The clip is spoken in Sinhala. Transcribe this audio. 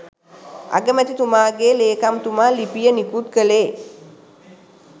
අගමැතිතුමාගේ ලේකම්තුමා ලිපිය නිකුත් කළේ